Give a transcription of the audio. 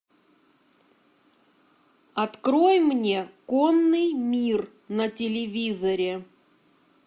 открой мне конный мир на телевизоре